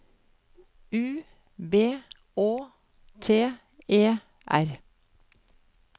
U B Å T E R